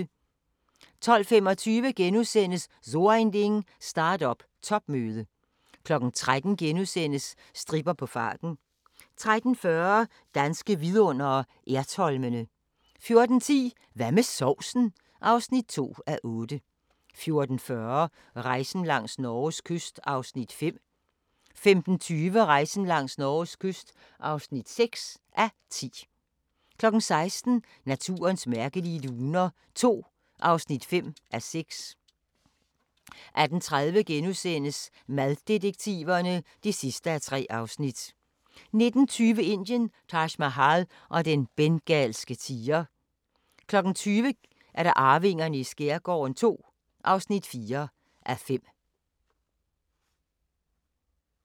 12:25: So Ein Ding: Start-up topmøde * 13:00: Stripper på farten * 13:40: Danske vidundere: Ertholmene 14:10: Hvad med sovsen? (2:8) 14:40: Rejsen langs Norges kyst (5:10) 15:20: Rejsen langs Norges kyst (6:10) 16:00: Naturens mærkelige luner II (5:6) 18:30: Maddetektiverne (3:3)* 19:20: Indien – Taj Mahal og den bengalske tiger 20:00: Arvingerne i skærgården II (4:5)